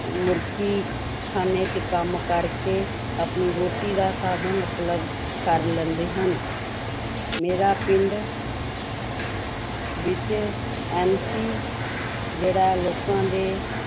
ਮੁਰਗੀ ਖਾਨੇ ਵਿੱਚ ਕੰਮ ਕਰਕੇ ਆਪਣੀ ਰੋਟੀ ਦਾ ਸਾਧਨ ਉਪਲਬਧ ਕਰ ਲੈਂਦੇ ਹਨ ਮੇਰਾ ਪਿੰਡ ਵਿੱਚ MC ਜਿਹੜਾ ਲੋਕਾਂ ਦੇ